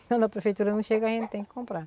Quando a prefeitura não chega, a gente tem que comprar.